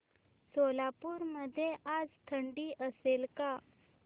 सोलापूर मध्ये आज थंडी असेल का